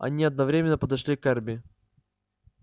они одновременно подошли к эрби